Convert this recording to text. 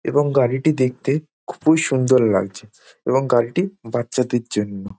এবং গাড়িটি দেখতে খুবই সুন্দর লাগছে | এবং গাড়িটি বাচ্চাদের জন্য |